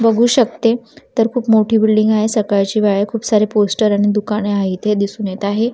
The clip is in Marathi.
बघू शकते तर खूप मोठी बिल्डिंग आहे सकाळची वेळ आहे खूप सारे पोस्टर आणि दुकाने आहे इथे दिसून येत आहे.